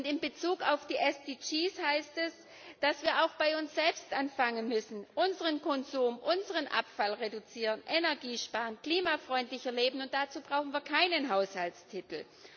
Und in Bezug auf die SDGs heißt es, dass wir auch bei uns selbst anfangen müssen, unseren Konsum, unseren Abfall zu reduzieren, Energie zu sparen, klimafreundlicher zu leben, und dazu brauchen wir keinen Haushaltstitel.